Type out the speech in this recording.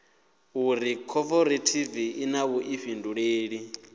uri khophorethivi i na vhuḓifhinduleli